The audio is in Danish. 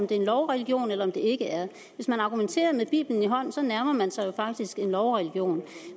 det er en lovreligion eller det ikke er hvis man argumenterer med bibelen i en hånd så nærmer man sig jo faktisk en lovreligion